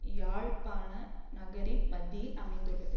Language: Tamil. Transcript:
யாழ்ப்பாண நகரின் மத்தியில் அமைந்துள்ளது